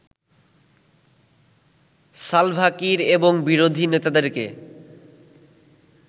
Salva Kiir এবং বিরোধী নেতাদেরকে